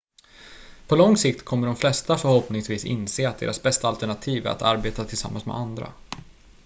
på lång sikt kommer de flesta förhoppningsvis inse att deras bästa alternativ är att arbeta tillsammans med andra